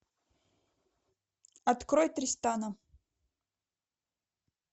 открой тристана